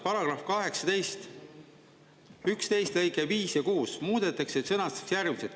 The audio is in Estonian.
Paragrahv 18, 11 lõige 5 ja 6 muudetakse ja sõnastatakse järgmiselt.